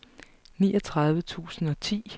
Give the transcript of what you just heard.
niogtredive tusind og ti